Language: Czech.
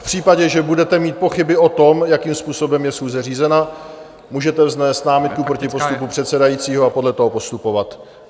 V případě, že budete mít pochyby o tom, jakým způsobem je schůze řízena, můžete vznést námitku proti postupu předsedajícího a podle toho postupovat.